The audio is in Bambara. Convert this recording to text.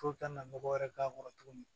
Fo ka na mɔgɔ wɛrɛ k'a kɔrɔ tuguni